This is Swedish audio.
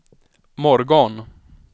morgon